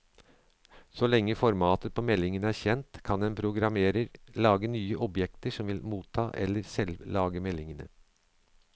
Så lenge formatet på meldingen er kjent, kan en programmerer lage nye objekter som vil motta eller selv lage meldingene.